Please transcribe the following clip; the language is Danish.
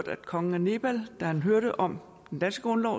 at kongen af nepal da han hørte om den danske grundlov